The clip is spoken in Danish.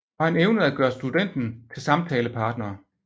Og han evnede at gøre studenten til samtalepartner